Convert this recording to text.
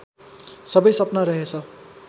सबै सपना रहेछ